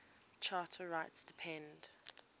charter rights depend